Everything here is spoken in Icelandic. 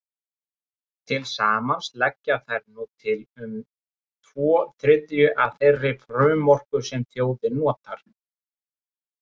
Til samans leggja þær nú til um tvo þriðju af þeirri frumorku sem þjóðin notar.